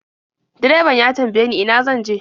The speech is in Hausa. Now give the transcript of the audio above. Direban ya tambaye ni ina zan je.